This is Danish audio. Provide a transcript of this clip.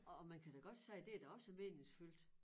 Og og man kan da godt sige det er da også meningsfyldt